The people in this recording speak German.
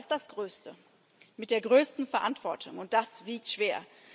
Aber es ist das größte, mit der größten Verantwortung, und das wiegt schwer.